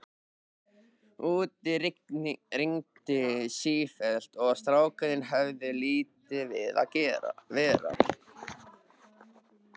Úti rigndi sífellt og strákarnir höfðu lítið við að vera.